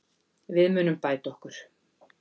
Við munum bæta okkur.